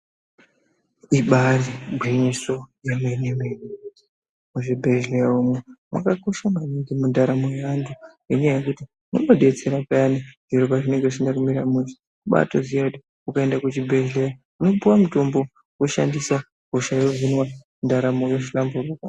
Ibari gwinyiso yemene mene muzvibhedhlera umu makakosha maningi mundaramo yevantu nenyaya yekuti munodetsera payani zviro pazvinenge zvisina kumira mushe ukaenda kuchibhedhlera unopiwa mutombo hosha yohinwa ndaramo yohlamburuka.